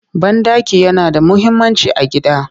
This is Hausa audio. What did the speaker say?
Banɗaki yana da muhimmanci a gida